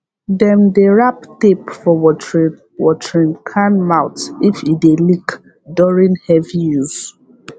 dem dey rap tape for watering watering can mouth if e dey leak during heavy use